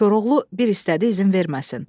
Koroğlu bir istədi izin verməsin.